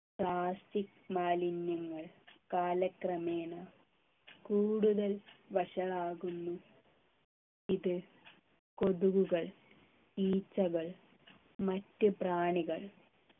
plastic മാലിന്യങ്ങൾ കാലക്രമേണ കൂടുതൽ വഷളാകുന്നു ഇത് കൊതുകുകൾ ഈച്ചകൾ മറ്റ് പ്രാണികൾ